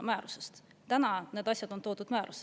Praegu on need asjad toodud määruses.